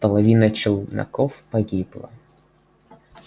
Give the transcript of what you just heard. половина челноков погибла